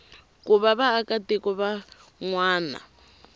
ku va vaakatiko van wana